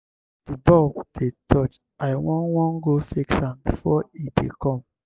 the bulb dey touch i wan wan go fix am before e dey come.